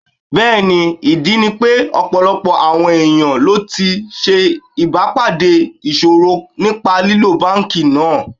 Bẹ́ẹ̀ni, ìdí ni pé ọ̀pọ̀lọpọ̀ àwọn ẹ̀yàn ló ti ṣe ìbà pàdé ìṣòro nípa lílo Báńkì náà.